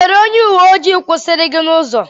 O nwere onye uwe ojii kwụsịrị gị n'ụzọ.